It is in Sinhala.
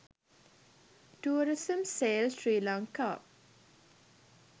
tourism sale srilanka